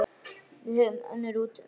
Við höfum önnur úrræði.